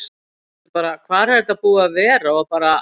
Það eru allir bara: Hvar er þetta búið að vera? og bara.